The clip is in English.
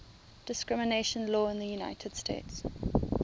discrimination law in the united states